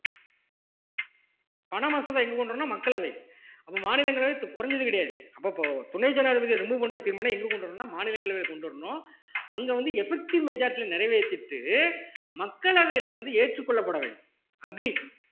பண மசோதா எங்க கொண்டு வரணும்ன்னா மக்களவை அப்ப மாநிலங்களவை குறைஞ்சது கிடையாது அப்ப இப்ப துணை ஜனாதிபதியை remove பண்ற தீர்மானம் எங்க கொண்டு வரணும்ன்னா மாநிலங்களவைல கொண்டு வரணும் அங்க வந்து effective majority ல நிறைவேத்திட்டு மக்களவையில வந்து ஏற்றுக்கொள்ளப்பட வேண்டும் agree